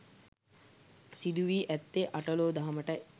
සිදු වී ඇත්තේ අට ලෝ දහමටයි.